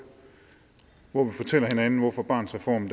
hvor vi fortæller hinanden hvorfor barnets reform